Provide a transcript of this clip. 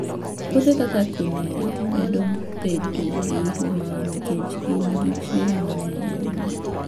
Puothe kaka quinoa medo bedo gi huma nikech gin gi chiemo mang'eny ahinya.